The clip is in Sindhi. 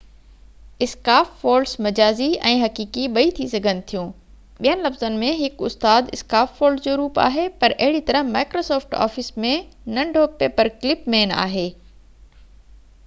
اسڪاف فولڊس مجازي ۽ حقيقي ٻئي ٿي سگهن ٿيون ٻين لفظن ۾ هڪ استاد اسڪاف فولڊ جو روپ آهي پر اهڙي طرح microsoft office ۾ ننڍو پيپر ڪلپ مين آهي